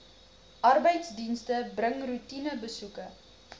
arbeidsdienste bring roetinebesoeke